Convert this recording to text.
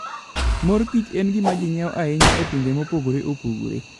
Mor kich en gima ji ng'iewo ahinya e pinje mopogore opogore.